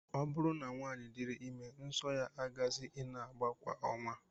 Ọ bụrụ na nwaanyị diri ime, nsọ ya agaghịzi ị na-agba kwa ọnwa